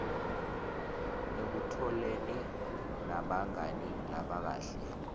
ekutholeni nabangani labakahle